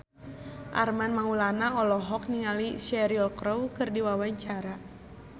Armand Maulana olohok ningali Cheryl Crow keur diwawancara